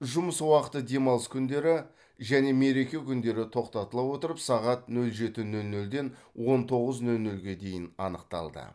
жұмыс уақыты демалыс күндері және мереке күндері тоқтатыла отырып сағат нөл жеті нөл нөлден он тоғыз нөл нөлге дейін анықталды